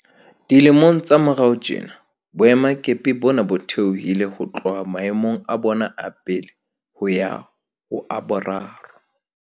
Dilemong tsa morao tjena, boemakepe bona bo theohile ho tloha maemong a bona a pele ho ya ho a boraro.